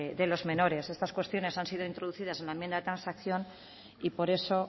de los menores estas cuestiones han sido introducidas en la enmienda de transacción y por eso